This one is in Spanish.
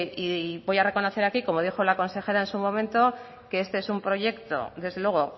y voy a reconocer aquí como dijo la consejera en su momento que este es un proyecto desde luego